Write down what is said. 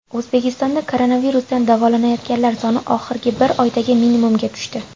O‘zbekistonda koronavirusdan davolanayotganlar soni oxirgi bir oydagi minimumga tushdi.